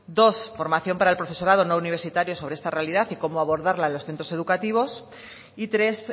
dos formación para el profesorado no universitario sobre esta realidad y cómo abordarla en los centros educativos y tres